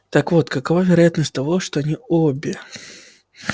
так вот какова вероятность того что они обе